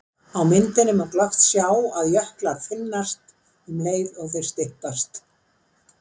Af myndinni má glöggt sjá að jöklar þynnast um leið og þeir styttast.